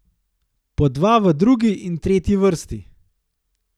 Po dva v drugi in tretji vrsti.